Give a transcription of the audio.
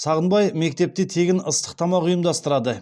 сағынбай мектепте тегін ыстық тамақ ұйымдастырады